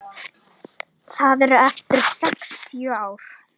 Þau eru eftir sextíu ár.